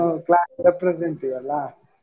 class representative ಅಲ್ಲಾ.